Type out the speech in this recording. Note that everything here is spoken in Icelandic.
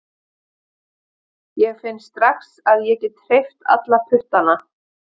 Ég finn strax að ég get hreyft alla puttana